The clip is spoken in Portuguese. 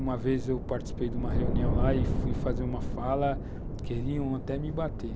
Uma vez participei de uma reunião lá e fui fazer uma fala, queriam até me bater.